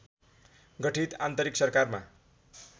गठित अन्तरिम सरकारमा